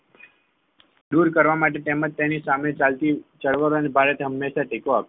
દૂર કરવા માટે તેમજ તેની સામે ચાલતી ચળવળ ભારતે હંમેશા ટેકો આપ્યો